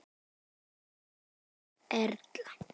Björg Erla.